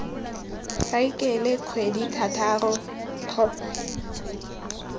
saekele kgwedithataro kgotsa ngwaga wa